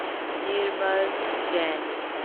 Nirmal Jain